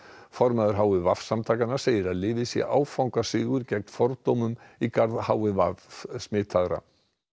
formaður h i v samtakanna segir að lyfið sé áfangasigur gegn fordómum í garð h i v smitaðra